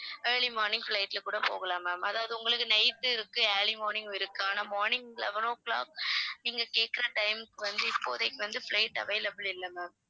early morning flight ல கூட போகலாம் ma'am அதாவது உங்களுக்கு night இருக்கு early morning ம் இருக்கு ஆனா morning eleven o'clock நீங்க கேக்குற time க்கு வந்து இப்போதைக்கு வந்து flight available இல்ல ma'am